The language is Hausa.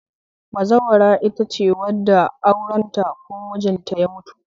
Bazawara itace wadda aurenta ko mijinta ya mutu